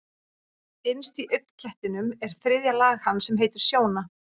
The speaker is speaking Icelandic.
Innst í augnknettinum er þriðja lag hans sem heitir sjóna.